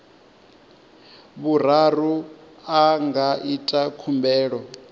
vhuraru a nga ita khumbelo